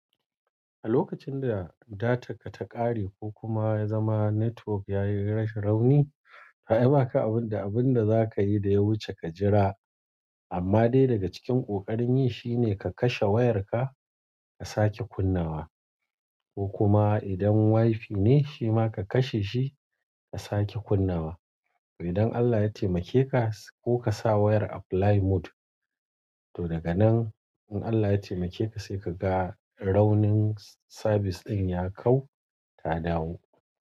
A lokacin da datar ka ta ƙare ko kuma ya zama network yayi rashin rauni, toh ai baka abun da abun da za ka yi da ya wuce ka jira, amma dai daga cikin ƙoƙarin yi shine ka kashe wayarka ka sake kunnawa. Ko kuma idan wifi ne shi ma ka kashe shi ka sake kunnawa. Idan Allah ya taimake ka, ko kasa wayar a flight mode toh daganan in Allah ya taimake ka sai kaga raunin service din ya kau ta dawo.